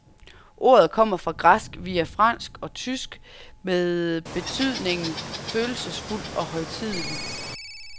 Ordet kommer fra græsk via fransk og tysk med betydningen følelsesfuld og højtidelig.